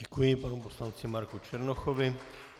Děkuji panu poslanci Marku Černochovi.